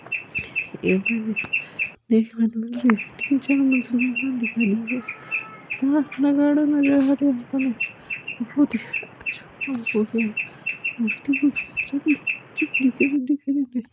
एवं दिखने को मिल रहिया है तिन चार मंजिला दिखाय दे रही है और बजा नगाड़ा रहा है